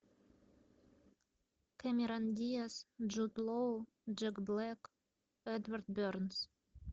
кэмерон диас джуд лоу джек блэк эдвард бернс